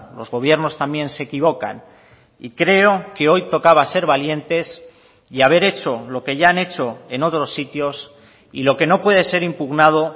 los gobiernos también se equivocan y creo que hoy tocaba ser valientes y haber hecho lo que ya han hecho en otros sitios y lo que no puede ser impugnado